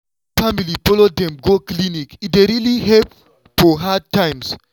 wen family follow dem go clinic e dey really help for hard times.